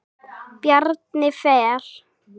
Bjarni Fel.